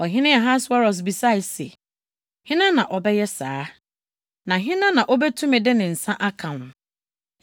Ɔhene Ahasweros bisae se, “Hena na ɔbɛyɛ saa? Na hena na obetumi de ne nsa aka wo?”